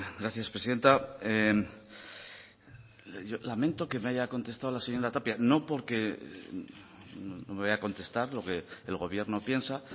gracias presidenta lamento que me haya contestado la señora tapia no porque no me vaya a contestar lo que el gobierno piensa